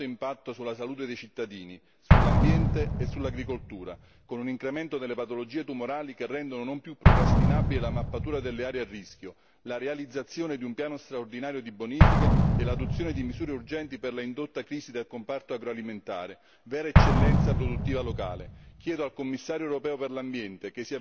Negli ultimi anni si è riscontrato un nefasto impatto sulla salute dei cittadini, sull'ambiente e sull'agricoltura con un incremento delle patologie tumorali che rendono non più procrastinabili la mappatura delle aree a rischio, la realizzazione di un piano straordinario di bonifiche e l'adozione di misure urgenti per la indotta crisi del comparto agroalimentare, vera eccellenza produttiva locale.